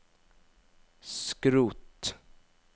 skrot